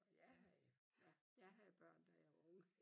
jeg havde ja jeg havde børn da jeg var ung